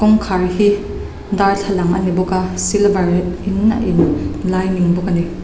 kawngkhar hi darthlalang ani bawk a silver in a in lining bawk ani.